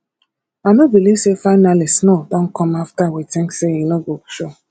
i no believe say finally snow don come after we think say e no go show